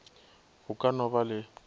go ka no ba le